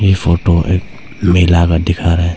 Photo एक मेला दिखा रहा है।